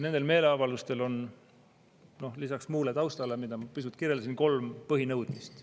Nendel meeleavaldustel on lisaks muule taustale, mida ma pisut kirjeldasin, kolm põhinõudmist.